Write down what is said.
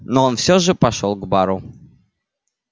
но он все же пошёл к бару